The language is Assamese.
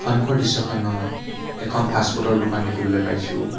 সন্মুখৰ দৃশ্যখনত এখন ফাষ্টফুড ৰ দোকান দেখিবলৈ পাইছোঁ।